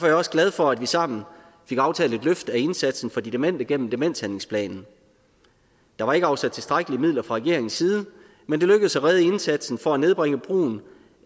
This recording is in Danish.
jeg også glad for at vi sammen fik aftalt et løft af indsatsen for de demente gennem demenshandlingsplanen der var ikke afsat tilstrækkelige midler fra regeringens side men det lykkedes at redde indsatsen for at nedbringe brugen